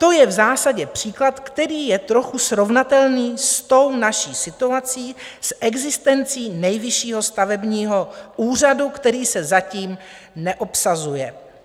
To je v zásadě příklad, který je trochu srovnatelný s tou naší situací, s existencí Nejvyššího stavebního úřadu, který se zatím neobsazuje.